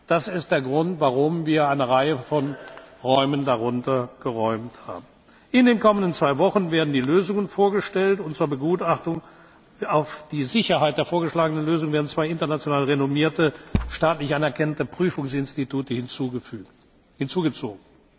Das ist der Grund, warum wir eine Reihe von Räumen darunter geräumt haben. In den kommenden zwei Wochen werden die Lösungen vorgestellt, und zur Begutachtung im Hinblick auf die Sicherheit der vorgeschlagenen Lösungen werden zwei international renommierte staatlich anerkannte Prüfungsinstitute hinzugezogen.